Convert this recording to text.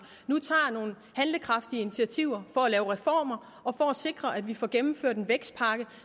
nu tager nogle handlekraftige initiativer for at lave reformer og for at sikre at vi får gennemført en vækstpakke